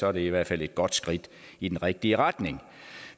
er det i hvert fald et godt skridt i den rigtige retning